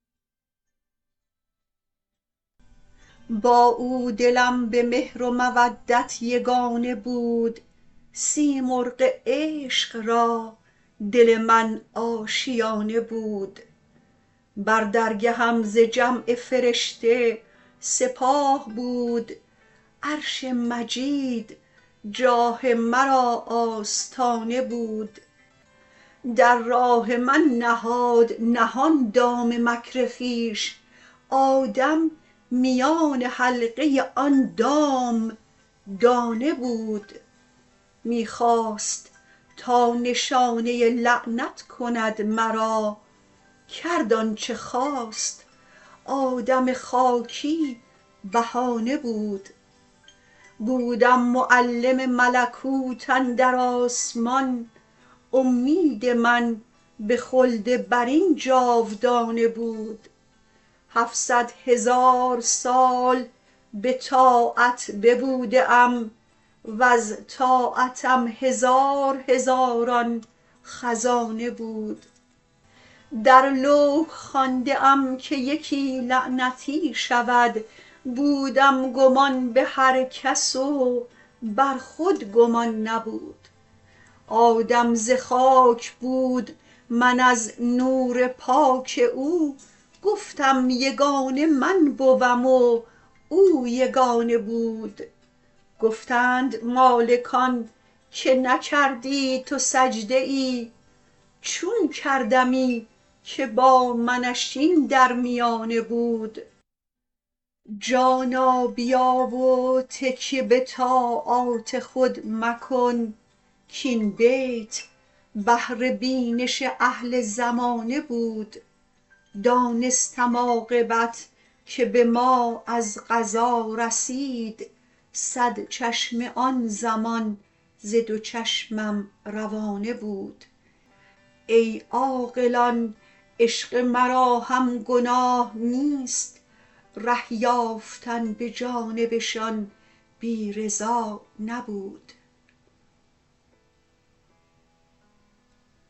با او دلم به مهر و مودت یگانه بود سیمرغ عشق را دل من آشیانه بود بر درگهم ز جمع فرشته سپاه بود عرش مجید جاه مرا آستانه بود در راه من نهاد نهان دام مکر خویش آدم میان حلقه آن دام دانه بود می خواست تا نشانه لعنت کند مرا کرد آنچه خواست آدم خاکی بهانه بود بودم معلم ملکوت اندر آسمان امید من به خلد برین جاودانه بود هفصد هزار سال به طاعت ببوده ام وز طاعتم هزار هزاران خزانه بود در لوح خوانده ام که یکی لعنتی شود بودم گمان به هر کس و بر خود گمان نبود آدم ز خاک بود من از نور پاک او گفتم یگانه من بوم و او یگانه بود گفتند مالکان که نکردی تو سجده ای چون کردمی که با منش این در میانه بود جانا بیا و تکیه به طاعات خود مکن کاین بیت بهر بینش اهل زمانه بود دانستم عاقبت که به ما از قضا رسید صد چشمه آن زمان ز دو چشمم روانه بود ای عاقلان عشق مرا هم گناه نیست ره یافتن به جانبشان بی رضا نبود